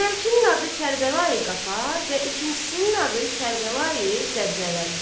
Əvvəlkinin adı Kərbəlayi Qafar və ikincisinin adı Kərbəlayi Zəbzəli idi.